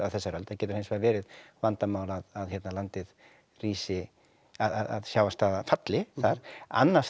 þessari öld það getur hins vegar verið vandamál að landi rísi að sjávarstaða falli þar annars